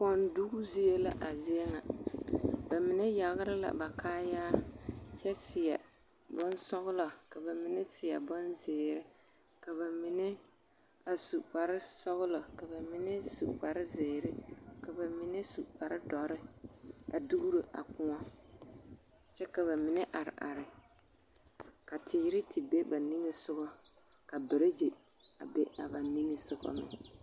Kɔndugi zie la a zie ŋa bamine yagere la ba kaayaa kyɛ seɛ bonsɔgelɔ ka bamine seɛ bonzeere ka bamine a su kpare sɔgelɔ ka bamine su kpare zeere ka bamine su kpare dɔre a dugiro a kõɔ kyɛ ka bamine are are ka teere te be ba niŋesogɔ ka beregye a be a ba niŋesogɔ meŋ.